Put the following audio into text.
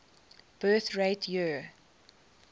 birth rate year